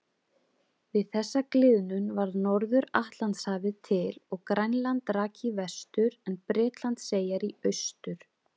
Við þessa gliðnun varð Norður-Atlantshafið til og Grænland rak í vestur en Bretlandseyjar í austur.